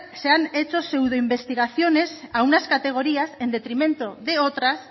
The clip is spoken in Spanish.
se han hecho pseudo investigaciones a unas categorías en detrimento de otras